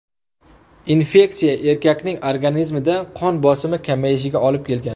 Infeksiya erkakning organizmida qon bosimi kamayishiga olib kelgan.